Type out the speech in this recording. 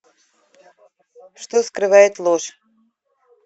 что скрывает ложь